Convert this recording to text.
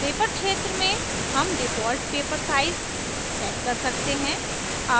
paper क्षेत्र में हम default paper size set कर सकते हैं